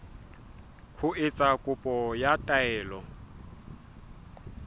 ho etsa kopo ya taelo